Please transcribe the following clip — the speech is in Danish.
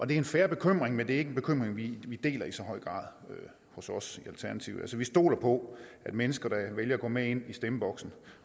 det er en fair bekymring men det er ikke en bekymring vi deler i så høj grad hos os i alternativet vi stoler på at mennesker der vælger at gå med ind i stemmeboksen